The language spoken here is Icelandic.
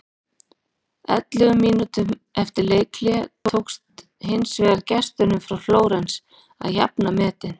Ellefu mínútum eftir leikhlé tókst hins vegar gestunum frá Flórens að jafna metin.